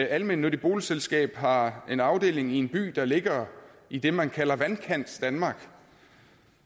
almennyttigt boligselskab har en afdeling i en by der ligger i det man kalder vandkantsdanmark